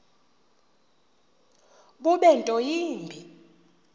bube nto yimbi